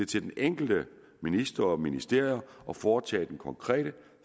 til den enkelte minister og ministerium at foretage den konkrete